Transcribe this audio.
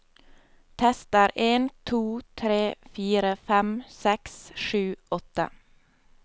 Tester en to tre fire fem seks sju åtte